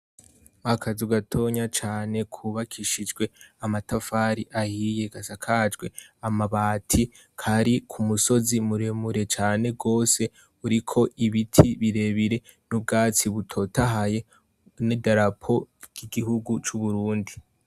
Akazu gatonya cane kubakishijwe amatafari ahiye gasakajwe amabati, kari ku musozi muremure cane rwose uriko ibiti birebire n'ubwatsi butotahaye n'idarapo ry'igihugu c'Uburundi.